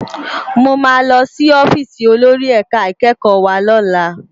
Mó má lòsí òfìsí ólóri èká ikèkkò wá lòlá